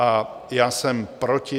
A já jsem proti.